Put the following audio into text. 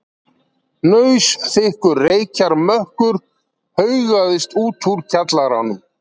Hnausþykkur reykjarmökkur haugaðist út úr kjallaranum.